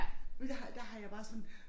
Men der har der har jeg bare sådan